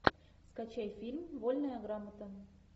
скачай фильм вольная грамота